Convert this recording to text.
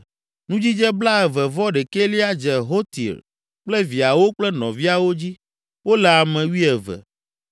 Nudzidze blaeve-vɔ-ɖekɛlia dze Hotir kple viawo kple nɔviawo dzi; wole ame wuieve.